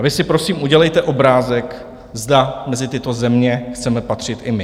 A vy si prosím udělejte obrázek, zda mezi tyto země chceme patřit i my.